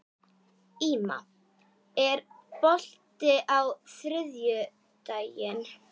Íma, er bolti á þriðjudaginn?